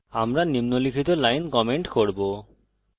আমরা নিম্নলিখিত line comment করব